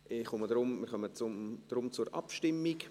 Ich komme deshalb zur Abstimmung.